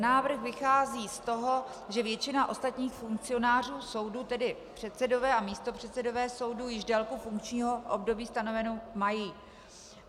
Návrh vychází z toho, že většina ostatních funkcionářů soudů, tedy předsedové a místopředsedové soudů, již délku funkčního období stanovenou mají.